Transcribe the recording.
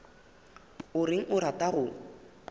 o reng o rata go